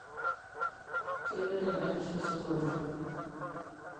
keloito enda tito sokoni